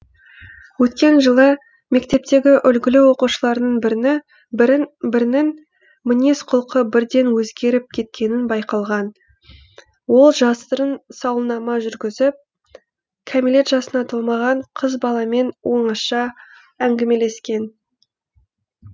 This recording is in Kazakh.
өткен жылы мектептегі үлгілі оқушыларының бірінің мінез құлқы бірден өзгеріп кеткенін байқаған ол жасырын сауалнама жүргізіп кәмелет жасына толмаған қыз баламен оңаша әңгімелескен